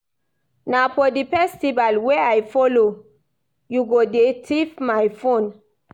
Na for the festival wey I follow you go dey thief my phone